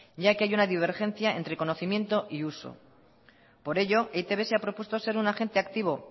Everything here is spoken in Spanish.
ya que hay una divergencia entre conocimiento y uso por ello e i te be se ha propuesto ser un agente activo